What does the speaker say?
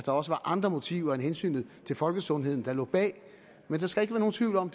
også var andre motiver end hensynet til folkesundheden der lå bag der skal ikke være nogen tvivl om